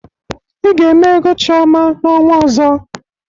Ị ga-eme ego Chiọma n'ọnwa ọzọ!